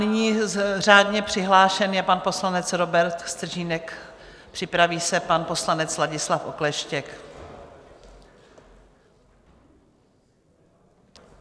Nyní řádně přihlášen je pan poslanec Robert Stržínek, připraví se pan poslanec Ladislav Okleštěk.